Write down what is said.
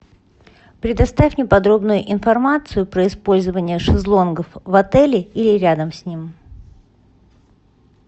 предоставь мне подробную информацию про использование шезлонгов в отеле или рядом с ним